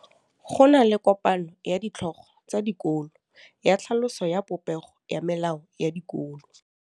Go na le kopanô ya ditlhogo tsa dikolo ya tlhaloso ya popêgô ya melao ya dikolo.